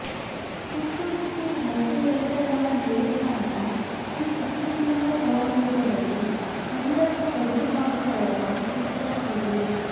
ಪುತ್ತೂರು ಶ್ರೀ ಲಕ್ಷ್ಮೀವೆಂಕಟರಮಣ ದೇವಸ್ಥಾನದ ಶ್ರೀ ಸುಕೃತೀಂದ್ರ ಕಲಾಮಂದಿರದಲ್ಲಿ ಹಂದ್ರಟ್ಟ ಪದ್ಮನಾಭರವರ ಉತ್ತರ ಕ್ರಿಯೆ